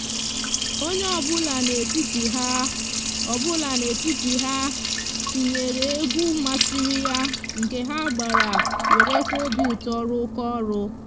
onye obula n'etiti ha obula n'etiti ha tinyere egwu masiri ya nke ha gbara werekwa obiuto rukoo oru